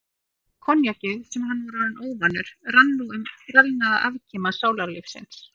Koníakið, sem hann var orðinn óvanur, rann nú um skrælnaða afkima sálarlífsins.